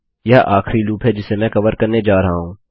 यह आखरी लूप है जिसे मैं कवर करने जा रहा हूँ